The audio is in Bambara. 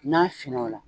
N'a finn'ola